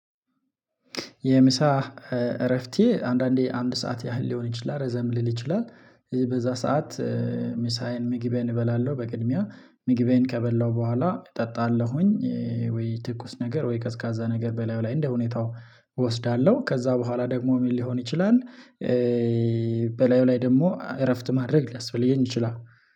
የምሳ እረፍቴ አንዳንዴ አንድ ሰዓት ያህል ሊሆን ይችላል ረዘም ሊል ይችላል በዛ ሰዓት። ምሳዬን ምግቤን እበላለሁ በቅድሚያ ምግቤን ከበላሁ በኋላ እጠጣለሁኝ። ወይ ትኩስ ነገር ወይ ቀዝቃዛ ነገር በላዩ ላይ እንደ ሁኔታው እወስዳለሁ ከዛ በኋላ ደግሞ ምን ሊሆን ይችላል? በላዩ ላይ ደግሞ እረፍት ማድረግ ሊያስፈልገኝ ይችላል።